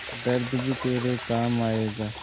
दर्द भी तेरे काम आएगा